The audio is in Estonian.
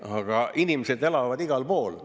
Aga inimesed elavad igal pool.